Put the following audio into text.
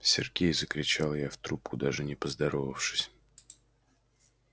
сергей закричала я в трубку даже не поздоровавшись